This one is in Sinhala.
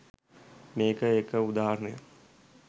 මේක එක උදාහරණයක්.